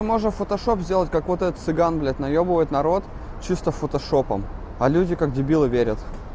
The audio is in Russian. можно фотошоп сделать как вот этот цыган блядь наёбывает народ чисто фотошопом а люди как дебилы верят